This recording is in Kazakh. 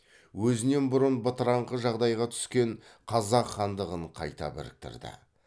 өзінен бұрын бытыраңқы жағдайға түскен қазақ хандығын қайта біріктірді